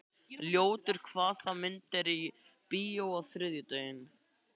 Ljótur, hvaða myndir eru í bíó á þriðjudaginn?